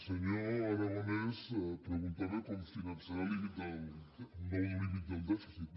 senyor aragonès preguntava com finançar el nou límit del dèficit